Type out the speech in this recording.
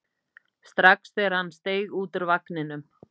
strax þegar hann steig út úr vagninum.